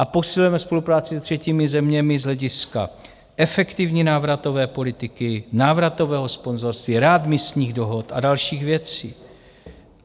A posilujeme spolupráci se třetími zeměmi z hlediska efektivní návratové politiky, návratového sponzorství, readmisních dohod a dalších věcí.